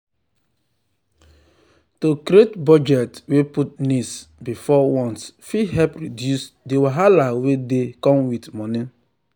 to create budget wey put needs before wants fit help reduce di wahala wey dey come with money.